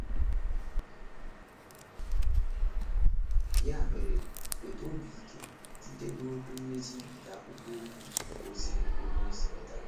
Ya mere, nweta obi ike site n’okwu mmechi nke akwụkwọ ozi onyeozi Pita: